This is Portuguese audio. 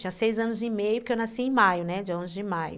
eu tinha seis anos e meio, porque eu nasci em maio, né, dia onze de maio.